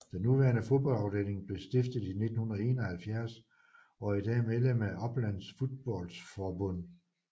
Den nuværende fodboldafdeling blev stiftet i 1971 og er i dag medlem af Upplands Fotbollsförbund